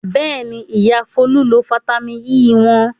Bẹ́ẹ̀ni, Ìyá Folú lo fataímìn E wọn.